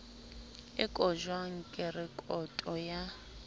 e kotjwang ke rekoto ya